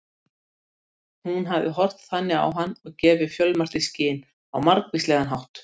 Hún hafði horft þannig á hann og gefið fjölmargt í skyn á margvíslegan hátt.